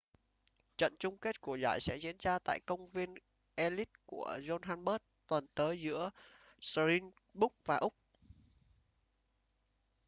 trận chung kết của giải sẽ diễn tra tại công viên ellis của johannesburg tuần tới giữa springboks và úc